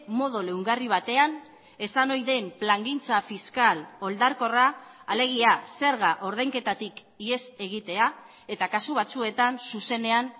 modu leungarri batean esan ohi den plangintza fiskal oldarkorra alegia zerga ordainketatik ihes egitea eta kasu batzuetan zuzenean